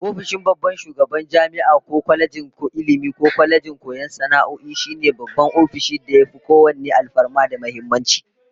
Ofishin babban shugaban jami'a ko kwalejin Ilmi ko kwalejin koyon sana'o'i, shine babban ofishin da yafi kowanne alfarma da muhimmanci